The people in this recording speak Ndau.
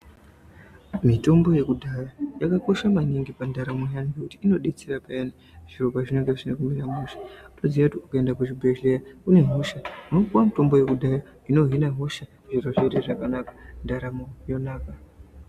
Mitombo yekudhaya yakakosha maningi pandaramo yaanu ngokuti inodetsera payani zviro pazvinenge zvisina kumira mushewoziye kuti ukaenda kuzvibhedhlera une hosha unopiwa mutombo yekudhaya ino hina hosha zviro zvoita zvakanaka ndaramo Yonaka.